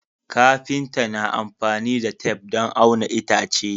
Kafinta na amfani da tef don auna itace